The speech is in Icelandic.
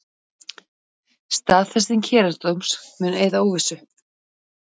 Staðfesting héraðsdóms mun eyða óvissu